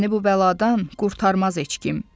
Səni bu bəladan qurtarmaz heç kim.